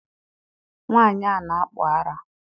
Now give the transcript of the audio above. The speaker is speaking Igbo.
Nwaanyị na-akpụ ara